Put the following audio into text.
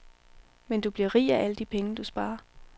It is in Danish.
Men du bliver rig af alle de penge, du sparer.